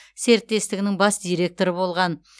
серіктестігінің бас директоры болған